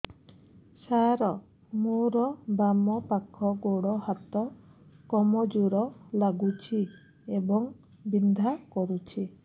ସାର ମୋର ବାମ ପାଖ ଗୋଡ ହାତ କମଜୁର ଲାଗୁଛି ଏବଂ ବିନ୍ଧା କରୁଛି